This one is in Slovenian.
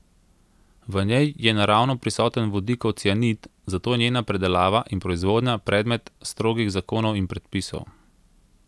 V njej je naravno prisoten vodikov cianid, zato je njena predelava in proizvodnja predmet strogih zakonov in predpisov.